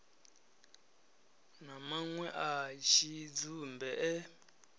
na manwe a tshidzumbe e